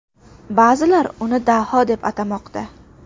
Ba’zilar uni daho deb atamoqda.